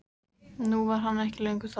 Nú var hann ekki lengur þar.